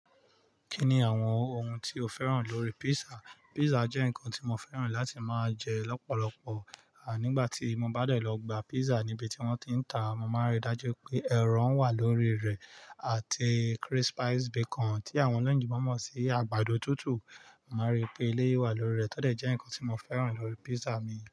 Kí ni àwọn ohun tí o fẹ́ràn lórí pizza? Pizza jẹ́ nǹkan tí mo fẹ́ràn láti máa jẹ lọ́pọ̀lọpọ̀. À nígbà tí mo bá dẹ̀ lọ gba pízza níbi tí wọ́n ti ń ta, mo máa rí dájú pé ẹ̀rọ wà lórí rẹ̀ àti crispies bacon tí àwọn oloyonboìnbọ̀ mọ̀ sí àgbàdo tútù. Mo máa rí pé eleyii wà lórí rẹ̀ tọ dẹ̀ jẹ́ nǹkan tí mo fẹ́ràn lórí pizza mi.